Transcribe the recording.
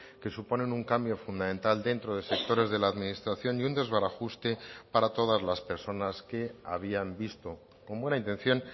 que suponen un cambio fundamental dentro de sectores de la administración y un desbarajuste para todas las personas que habían visto con buena intención